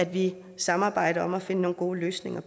vi samarbejder om at finde nogle gode løsninger